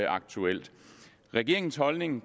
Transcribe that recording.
aktuel regeringens holdning